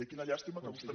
i quina llàstima que vostè